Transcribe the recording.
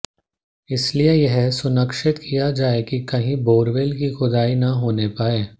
इसलिए यह सुनिश्चित किया जाए कि कहीं बोरवेल की खुदाई न होने पाए